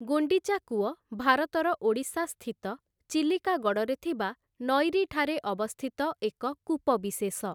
ଗୁଣ୍ଡିଚା କୂଅ ଭାରତର ଓଡ଼ିଶାସ୍ଥିତ ଚିଲିକା ଗଡ଼ରେ ଥିବା ନଈରୀଠାରେ ଅବସ୍ତିତ ଏକ କୂପବିଶେଷ ।